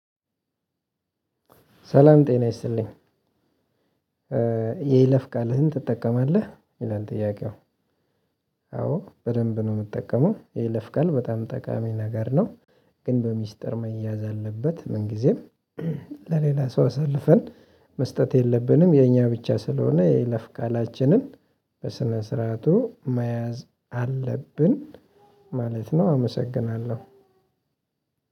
ሰላም ጤና ይስጥልኝ። የይለፍ ቃልህን ትጠቀማለህ ይላል ጥያቄው? አዎ በደንብ ነው ምጠቀመው የይለፍቃል በጣም ጠቃሚ ነገር ነው። ግን በሚስጥር መያዝ አለበት ምንጊዜም። ለሌላ ሰው አሳልፈን መስጠት የለብንም። የኛ ብቻ ስለሆነ የይለፍ ቃላችንን በስነ ስርዓቱ መያዝ አለብን ማለት ነው። አመሰግናለሁ።